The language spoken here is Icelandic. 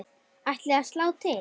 Ætlið þið að slá til?